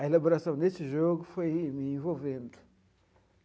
A elaboração desse jogo foi me envolvendo.